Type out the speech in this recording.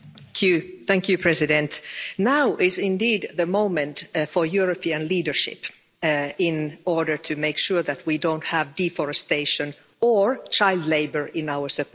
Mr President, now is indeed the moment for European leadership, in order to make sure that we don't have deforestation or child labour in our supply chains.